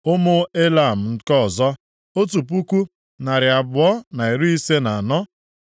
Ụmụ Elam nke ọzọ, otu puku, narị abụọ na iri ise na anọ (1,254).